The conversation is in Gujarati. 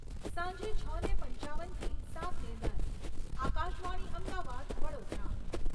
સાંજે, છને પંચાવનથી સાતને દસ. આકાશવાણી અમદાવાદ, વડોદરા...